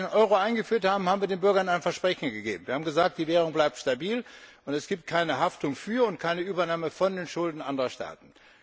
Als wir den Euro eingeführt haben, haben wir den Bürgern ein Versprechen gegeben. Wir haben gesagt, die Währung bleibt stabil und es gibt keine Haftung für und keine Übernahme von Schulden anderer Staaten.